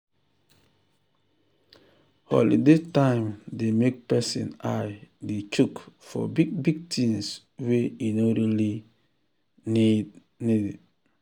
holiday time dey make person eye dey chook for big big things wey e no really um need um need